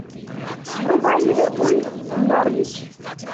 врубай ливерпуль норвич